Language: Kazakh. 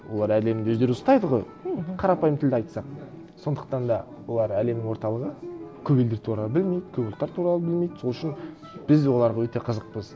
олар әлемді өздері ұстайды ғой мхм қарапайым тілде айтсақ сондықтан да олар әлемнің орталығы көп елдер туралы білмейді көп ұлттар туралы білмейді сол үшін біз оларға өте қызықпыз